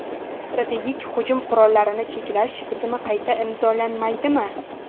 Strategik hujum qurollarini cheklash bitimi qayta imzolanmaydimi?